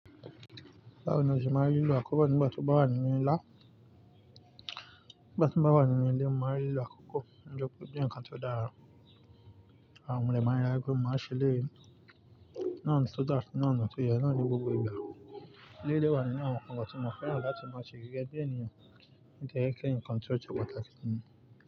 Báwo ni o ṣe máa ń rí lílọ àkọ́kọ́ nígbà tí o bá wà nínú ilé ńlá? Nígbà tí mo bá wà nínú ilé, mo máa ń rí lílọ àkọ́kọ́, ó jọ pé ó jẹ́ ǹkan tó dára. Àwọn mọ̀lẹ́bí máa ń rara pe, mo máa ń ṣele yi Náà ni tó dá, náà ni tó yẹ, náà ni gbogbo ìgbà. Ilé ìléwa ni àwọn nǹkan tí mo fẹ́ràn láti máa ṣe gẹ́gẹ́ bí ènìyàn. Ó jẹ́ kí ǹkan tó tun pátákì si mí.